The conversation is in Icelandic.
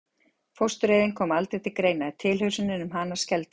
Fóstureyðing kom aldrei til greina, tilhugsun um hana skelfdi mig.